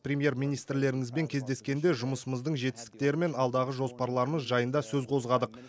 премьер министрлеріңізбен кездескенде жұмысымыздың жетістіктері мен алдағы жоспарларымыз жайында сөз қозғадық